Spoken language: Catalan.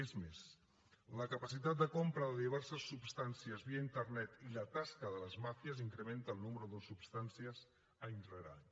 és més la capacitat de compra de diverses substàncies via internet i la tasca de les màfies incrementa el nombre de substàncies any rere any